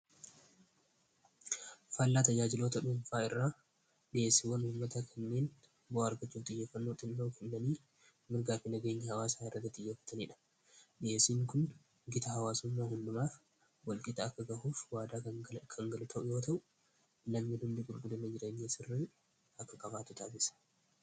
Faallaa tajaajilota dhuunfaa irraa dhi'eessiwwan uummata kanneen bo'a argachoo tiyyaffannoo xinla'u hindanii mirgaafi nageenya hawaa saa irraga tiyaeffataniidha dhi'eessiin kun gita hawaasummaa hundumaaf balqita akka gahuuf waada kangalu ta'u yoo ta'u lammii jireenya irraa akka qabaatu taasisa.